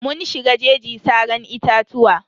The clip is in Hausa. Mun shiga jeji saran itatuwa.